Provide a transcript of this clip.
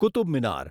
Qutub Minar